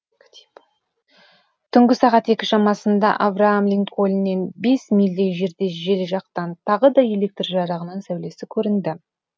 түнгі сағат екі шамасында авраам линкольннен бес мильдей жерде жел жақтан тағы да электр жарығының сәулесі көрінді